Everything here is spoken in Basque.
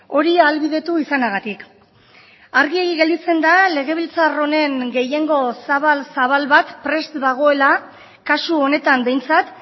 hori ahalbidetu izanagatik argi gelditzen da legebiltzar honen gehiengo zabal zabal bat prest dagoela kasu honetan behintzat